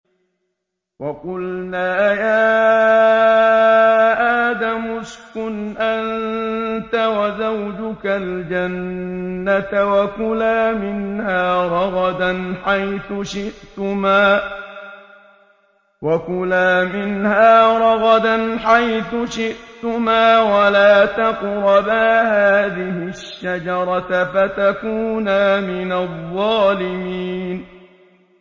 وَقُلْنَا يَا آدَمُ اسْكُنْ أَنتَ وَزَوْجُكَ الْجَنَّةَ وَكُلَا مِنْهَا رَغَدًا حَيْثُ شِئْتُمَا وَلَا تَقْرَبَا هَٰذِهِ الشَّجَرَةَ فَتَكُونَا مِنَ الظَّالِمِينَ